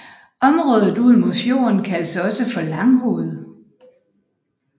Området ud mod fjorden kaldes også for Langhoved